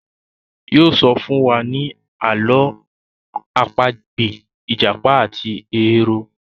yóò sọ fún wa ní Àló̩ àpagbè ìjàpá àti ehoro.